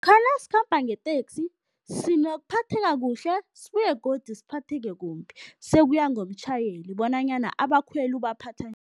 nasikhamba ngeteksi sinokuphatheka kuhle sibuye godu siphatheke kumbi, sekuya ngomtjhayeli bonanyana abakhweli ubaphatha